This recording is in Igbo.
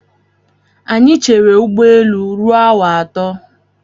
Anyị chere ụgbọelu ruo awa atọ.